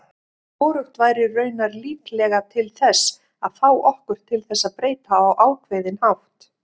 Hvorugt væri raunar líklega til þess að fá okkur til þess breyta á ákveðinn hátt.